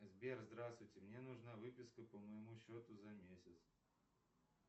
сбер здравствуйте мне нужна выписка по моему счету за месяц